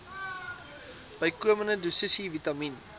bykomende dosisse vitamien